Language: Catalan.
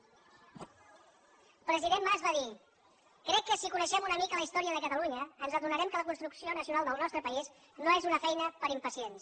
el president mas va dir crec que si coneixem una mica la història de catalunya ens adonarem que la construcció nacional del nostre país no és una feina per a impacients